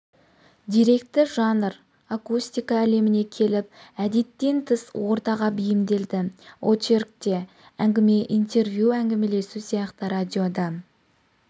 деректі жанр акустика әлеміне келіп әдеттен тыс ортаға бейімделді очерк те әңгіме интервью әңгімелесу сияқты радиода